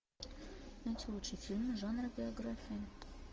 найти лучшие фильмы жанра биография